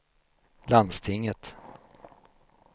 landstinget